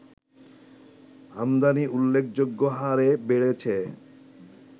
আমদানি উল্লেখযোগ্য হারে বেড়েছে